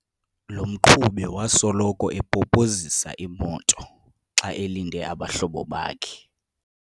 Lo mqhubi wasoloko epopozisa imoto xa elinde abahlobo bakhe.